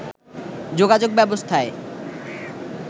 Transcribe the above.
যোগাযোগ ব্যবস্থায়